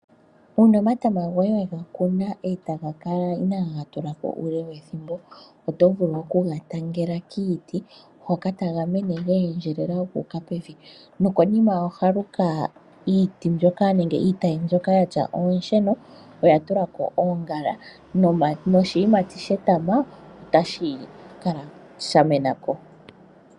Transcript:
Uuna omatama goye wegakuna eta gakala inaagatulako uule wethimbo, oto vulu okuga tangela kiiti hoka taga mene geendjelela guuka pevi. Nokonima ohaluka iiti mbyoka nenge iitayi mbyoka yatya oosheno oyatulako oongala noshiyimati shetama otashi kala shamenako.